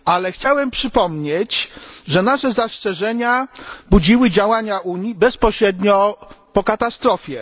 Chciałem przypomnieć, że nasze zastrzeżenia budziły działania Unii bezpośrednio po katastrofie.